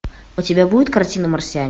у тебя будет картина марсианин